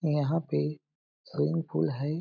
यहाँ पे swimming pool है।